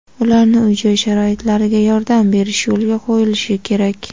ularni uy-joy sharoitlariga yordam berish yo‘lga qo‘yilishi kerak.